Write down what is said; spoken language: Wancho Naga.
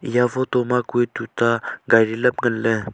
eya photo ma hue tuta gari lam ngan le taile.